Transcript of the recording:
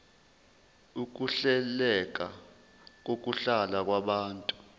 ukuhleleka kokuhlala kwabantu